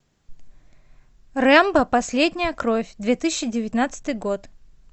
рэмбо последняя кровь две тысячи девятнадцатый год